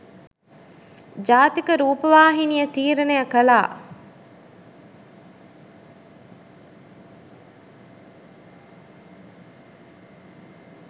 ජාතික රූපවාහිනිය තීරණය කළා.